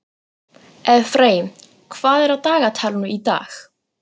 Efraím, hvað er á dagatalinu í dag?